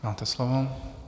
Máte slovo.